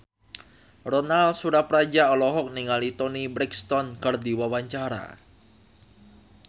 Ronal Surapradja olohok ningali Toni Brexton keur diwawancara